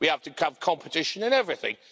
We have to have competition in everything.